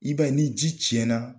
I b'a ye ni ji cɛn na